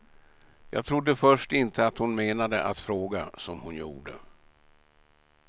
Jag trodde först inte att hon menade att fråga, som hon gjorde.